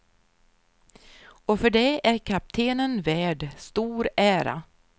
Och för det är kaptenen värd stor ära.